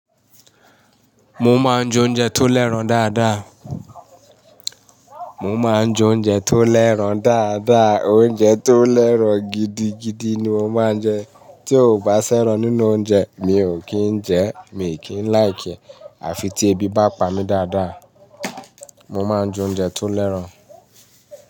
Mo máa ń jẹ oúnjẹ tó lẹ́rọ̀ dáadáa. Mo máa ń jẹ oúnjẹ tó l'ẹ́ran dáadáa o. Oúnjẹ tó lẹ́rọ̀ gidigidi ni mo máa ń jẹ. Tí ò bá s'ẹ́ran nínú oúnjẹ, mi ò kì n jẹẹ́. Mi ò kì í láìkiẹ́. Àfi tí ebi bá pa mí dáadáa, mo máa ń jẹ oúnjẹ tó l'ẹ́ran.